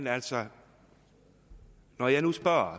altså når jeg nu spørger